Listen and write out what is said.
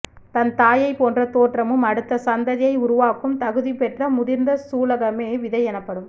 தன் தாயை போன்ற தோற்றமும் அடுத்த சந்ததியை உருவாக்கும் தகுதி பெற்ற முதிர்ந்த சூலகமே விதை எனப்படும்